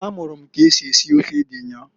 A mụrụ m k'esi esi ofe ede nnyaa.